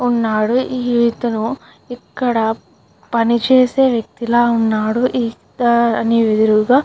ఉన్నాడు ఇతను ఇక్కడ పని చేసే వెక్తి లా ఉన్నాడు. ఇతని అదురుగా --